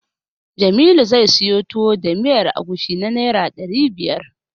Jamilu zai siyo Tuwo da miyar agushi na Naira ɗari biyar.